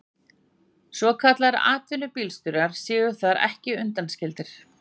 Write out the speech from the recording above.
Svokallaðir atvinnubílstjórar séu þar ekki undanskildir